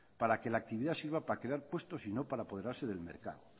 para que la actividad sirva para crear puestos y no para apoderarse del mercado